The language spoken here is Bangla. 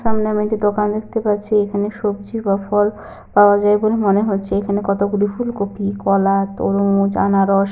সামনে আমি একটি দোকান দেখতে পারছি । এখানে সবজি বা ফল পাওয়া যায় বলে মনে হচ্ছে। এখানে কতগুলি ফুলকপি কলা তরমুজ আনারস।